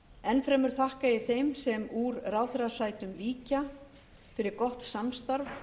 enn fremur þakka ég þeim sem úr ráðherrasætum víkja fyrir gott samstarf